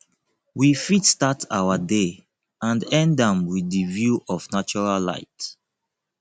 we fit start our day and end am with di view of natural light